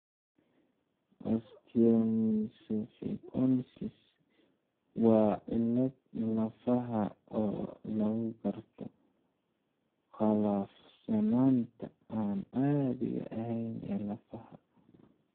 Osteomesopyknosis waa cillad lafaha oo lagu garto qallafsanaanta aan caadiga ahayn ee lafaha (osteosclerosis).